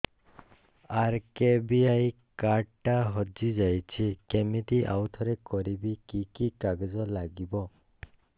RKBY card ଟା ହଜିଯାଇଛି କିମିତି ଆଉଥରେ କରିବି କି କି କାଗଜ ଲାଗିବ